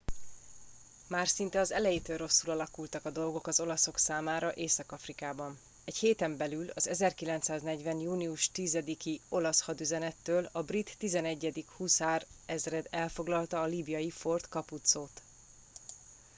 már szinte az elejétől rosszul alakultak a dolgok az olaszok számára észak afrikában egy héten belül az 1940. június 10 i olasz hadüzenettől a brit 11. huszárezred elfoglalta a líbiai fort capuzzót